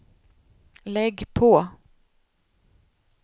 lägg på